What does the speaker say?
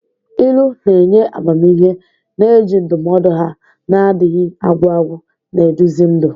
Ilu na-enye amamihe, na-eji ndụmọdụ ha na-adịghị agwụ agwụ na-eduzi ndụ.